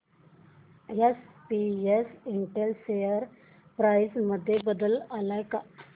SPS Intel share price मध्ये बदल आलाय का